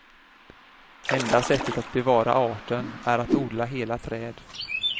Enda sättet att bevara arten är att odla hela träd.